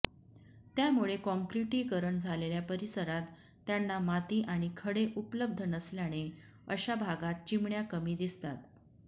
त्यामुळे काँक्रिटीकरण झालेल्या परिसरात त्यांना माती आणि खडे उपलब्ध नसल्याने अशा भागात चिमण्या कमी दिसतात